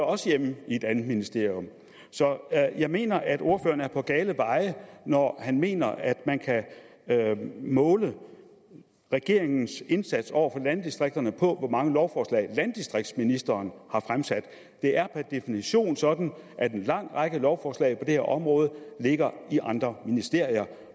også hjemme i et andet ministerium så jeg mener at ordføreren er på gale veje når han mener at man kan måle regeringens indsats over for landdistrikterne på hvor mange lovforslag landdistriktsministeren har fremsat det er per definition sådan at en lang række lovforslag på det her område ligger i andre ministerier